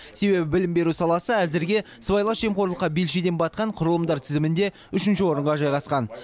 себебі білім беру саласы әзірге сыбайлас жемқорлыққа белшеден батқан құрылымдар тізімінде үшінші орынға жайғасқан